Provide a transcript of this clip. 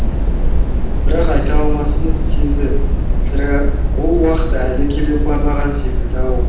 бірақ айта алмасын сезді сірә ол уақыт әлі келе қоймаған секілді ау